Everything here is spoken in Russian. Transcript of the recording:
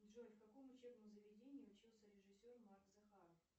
джой в каком учебном заведении учился режиссер марк захаров